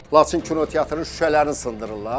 Laçın kinoteatrın şüşələrini sındırırlar.